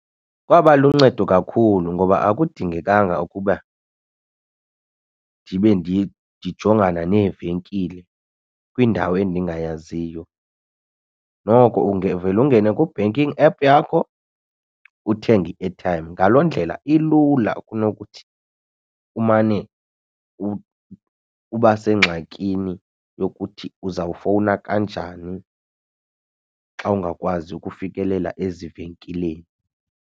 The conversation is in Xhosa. Kwaba luncedo kakhulu ngoba akudingekanga ukuba ndibe ndijongana neevenkile kwindawo endingayaziyo. Noko uvele ungene ku-banking app yakho uthenge i-airtime. Ngaloo ndlela ilula kunokuthi umane uba sengxakini yokuthi uzawufowuna kanjani xa ungakwazi ukufikelela ezivenkileni.